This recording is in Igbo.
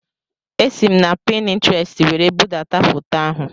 Esi m na Pintrestị were budata foto ahụ